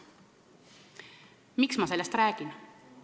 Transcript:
Miks ma sellest räägin?